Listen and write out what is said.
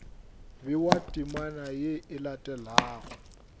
bewa temana ye e latelago